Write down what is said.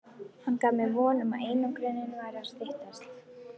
Hann gaf mér von um að einangrunin færi að styttast.